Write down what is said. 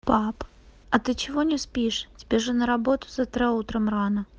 пап а ты чего не спишь тебе же на работу завтра утром рано